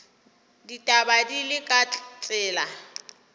ditaba di le ka tsela